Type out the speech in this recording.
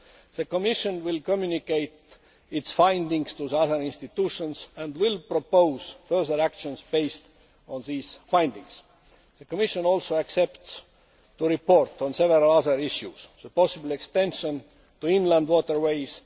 The Commission will communicate its findings to the other institutions and will propose further action based on these findings. The Commission also accepts the report on several other issues possible extension of the directive to inland waterways